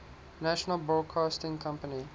national broadcasting company